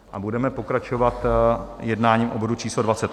A budeme pokračovat jednáním o bodu číslo